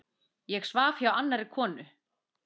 Ég svaf hjá annarri konu.